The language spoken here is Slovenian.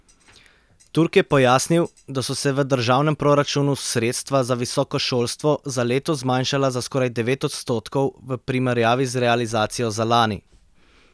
Turk je pojasnil, da so se v državnem proračunu sredstva za visoko šolstvo za letos zmanjšala za skoraj devet odstotkov v primerjavi z realizacijo za lani.